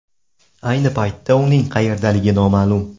Ayni paytda uning qayerdaligi noma’lum.